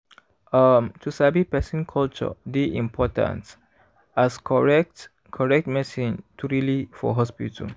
um to sabi person culture dey important as correct correct medicine truely for hospital.